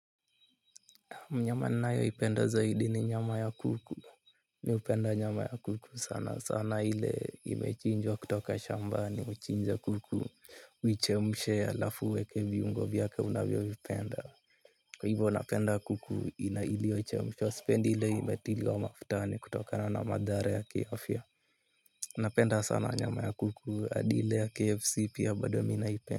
Mnyama ninayo ipenda zaidi ni nyama ya kuku. Mimi hupenda nyama ya kuku sana sana ile imechinjwa kutoka shambani huchinja kuku. Uchemushe alafu uweke viungo vyake unavyo vipenda. Hivo napenda kuku ina iliochemshwa. Sipendi ile imetiliwa mafutani kutokana na madhara ya kiafya. Napenda sana nyama ya kuku adi ile ya kfc pia bado mimi naipenda.